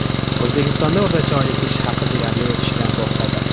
O‘zbekistonda o‘rtacha oylik ish haqi deyarli o‘sishdan to‘xtadi.